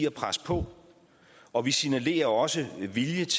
at presse på og vi signalerer også vilje